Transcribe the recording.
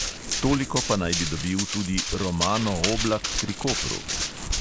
Toliko pa naj bi dobil tudi romano oblak pri kopru.